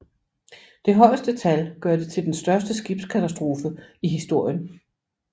Det højeste tal gør det til den største skibskatastrofe i historien